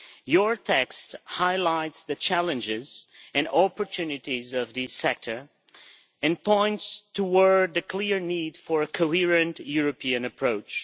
Your text highlights the challenges and opportunities of this sector, and points towards a clear need for a coherent European approach.